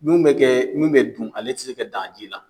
Mun bɛ kɛ mun dun ale tɛ se ka dan ji la.